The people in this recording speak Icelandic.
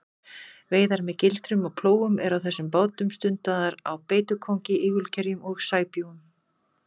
Veiðar með gildrum og plógum eru á þessum bátum stundaðar á beitukóngi, ígulkerjum og sæbjúgum.